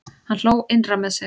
Hann hló innra með sér.